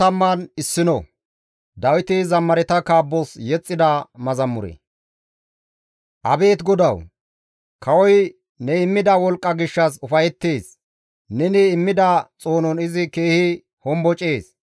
Abeet GODAWU! Kawoy ne immida wolqqa gishshas ufayettees; neni immida xoonon izi keehi hombocees.